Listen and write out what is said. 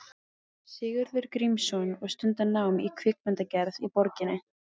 Sigurður Grímsson og stunda nám í kvikmyndagerð í borginni.